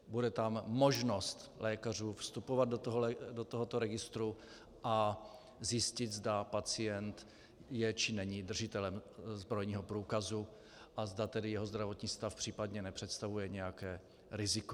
Bude tam možnost lékařů vstupovat do tohoto registru a zjistit, zda pacient je či není držitelem zbrojního průkazu a zda tedy jeho zdravotní stav případně nepřestavuje nějaké riziko.